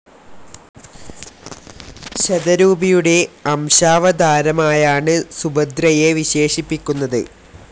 ശതരൂപിയുടെ അംശാവതാരമായാണ് സുഭദ്രയെ വിശേഷിപ്പിക്കുന്നത്.